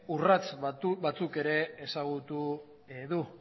urrats batzuk ere ezagutu du